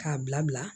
K'a bila bila